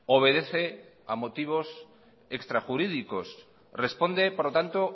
obedece a motivos extrajurídicos responde por lo tanto